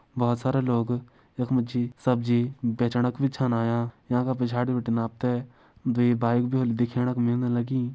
बहुत सारे लोग यख मा जी सब्जी बेचणा कू छन यांका यहाँ का पिछाड़ी बिटिन आप तैं दुई बाइक भी होली दिखेण का मिलण लगीं।